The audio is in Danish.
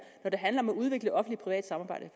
når det handler om at udvikle offentlig privat samarbejde